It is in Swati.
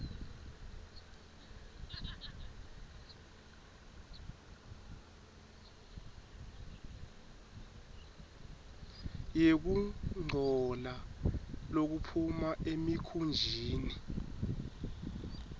yekungcola lokuphuma emikhunjini